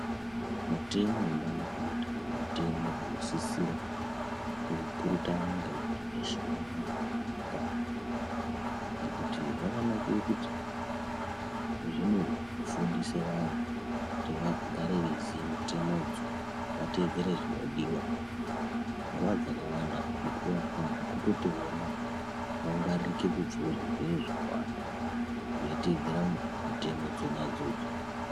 Mutemo we bandiko reUtano mutemo unosisira kupurutanwa ngemuntu weshe unorarame munyikamwo ngekuti zvakanakire kuti zvinofundisa vanhu kuti vagare veiziye mitemodzo vateedzere zvinodiwa nguwa dzakawanda mukuwo yakawanda kutoti vona vangwaririke kubva muzvirwere zvakawanda veitedzera mitemo dzonadzo.